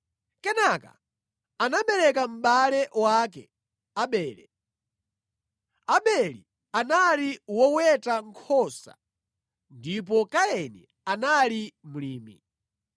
Kenaka anabereka mʼbale wake Abele. Abele anali woweta nkhosa ndipo Kaini anali mlimi.